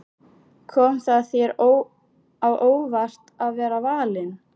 Kom það þér á óvart að vera valinn?